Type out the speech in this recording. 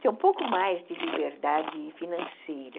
Ter um pouco mais de liberdade financeira.